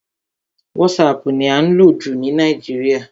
WhatsApp ni à ń lò jù ní Nàìjíríà.